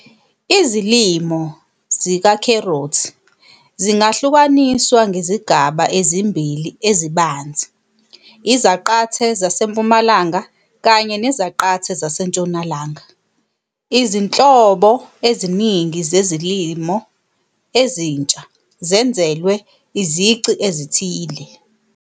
Izilimo zikakherothi zingahlukaniswa ngezigaba ezimbili ezibanzi, izaqathe zasempumalanga kanye nezaqathe zasentshonalanga. Izinhlobo eziningi zezilimo ezintsha zenzelwe izici ezithile.